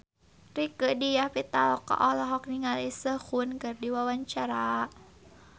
Rieke Diah Pitaloka olohok ningali Sehun keur diwawancara